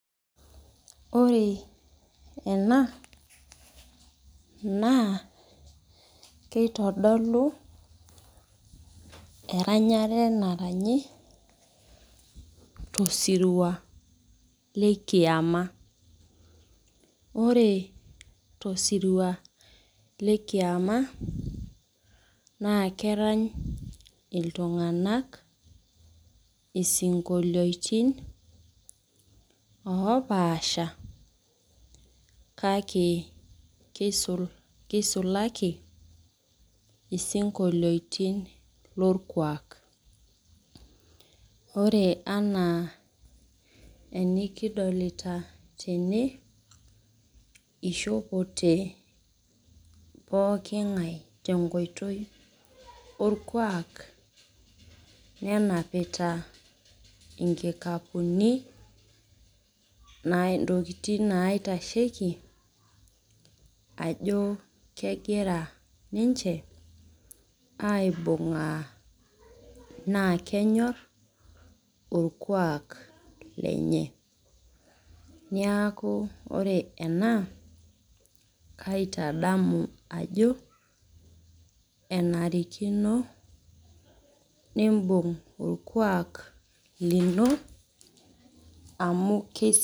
Ore ena naa keitodolu eranyare naranyi tosirua le kiyama. Ore tosirua le kiyama naakeranya iltung'anak isinkolioitin oopaasha kake keisul keisulaki isinkolioitin lorkwaak. Ore anaa enikidolita tene ishopote pooking'ai tenkoitoi orkwaak nenapita inkikapuni naa intokitin naitasheiki ajoo kegira ninche aaibung'aa naakenyorr orkwaak lenye. Neaku ore ena kaitadamu ajo enarikino nimbung orkwaak lino amu keisi.